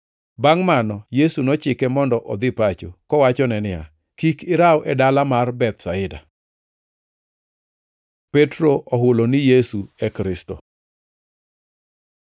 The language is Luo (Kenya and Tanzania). Bangʼ mano Yesu nochike mondo odhi pacho, kowachone niya, “Kik iraw e dala mar Bethsaida.” Petro ohulo ni Yesu e Kristo